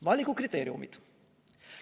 Valikukriteeriumid.